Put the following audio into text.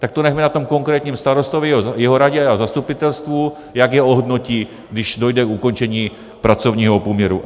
Tak to nechme na tom konkrétním starostovi, jeho radě a zastupitelstvu, jak je ohodnotí, když dojde k ukončení pracovního poměru.